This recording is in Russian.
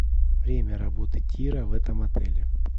время работы тира в этом отеле